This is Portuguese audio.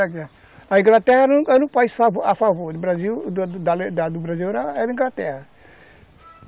A Inglaterra era um país a favor a favor do Brasil, era a Inglaterra.